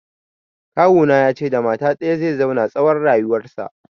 Kawuna ya ce da mata ɗaya zai zauna tsawon rayuwarsa